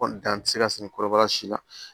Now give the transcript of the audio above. Kɔni dan tɛ se ka siri kɔrɔbaya si la